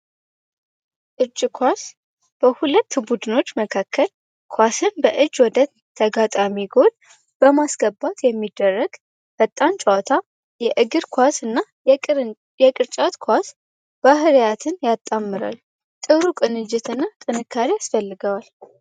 ኳስ በሁለት ቡድኖች መካከል ኳስን በእጅ ወደ ተጋጣሚ ጎል በማስገባት የሚደረግ በጣም ጨዋታ የእግር ኳስ እና የቅን የቅርጫት ኳስ ባህ ጥንካሬ አስፈልገዋል